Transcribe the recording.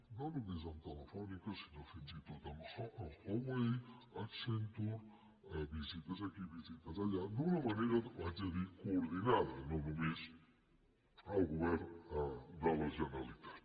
no només amb telefònica sinó fins i tot amb huawei accenture visites aquí visites allà d’una manera ho haig de dir coordinada no només el govern de la generalitat